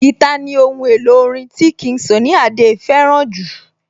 Guitar ní ohun èlò orin tí King Sunny Adé fẹ́ràn jù